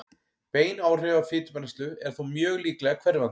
Bein áhrif á fitubrennslu eru þó mjög líklega hverfandi.